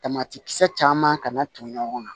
Tamatikisɛ caman ka na ton ɲɔgɔn kan